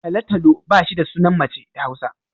Talo-talo ba shi da sunan mace da Hausa